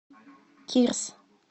кирс